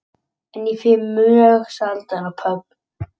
En ég fer mjög sjaldan á pöbb